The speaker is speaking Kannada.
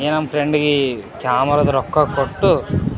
ಈ ನಮ್ ಫ್ರೆಂಡ್ ಗೆ ಕ್ಯಾಮೆರಾ ರೊಕ್ಕ ಕೊಟ್ಟು --